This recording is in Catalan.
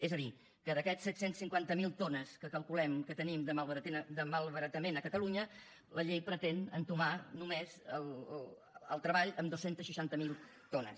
és a dir que d’aquestes set cents i cinquanta miler tones que calculem que tenim de malbaratament a catalunya la llei pretén entomar només el treball amb dos cents i seixanta miler tones